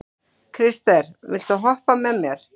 Krister, viltu hoppa með mér?